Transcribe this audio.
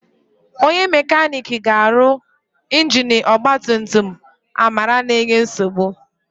Onye mekaniki ga-arụ ingini ọgbatumtum Amara na-enye nsogbu.